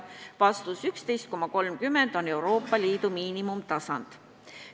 Vastus: 11,30 on Euroopa Liidu miinimumtasand.